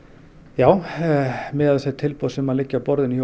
já miðað við þau tilboð sem leggja á borðinu hjá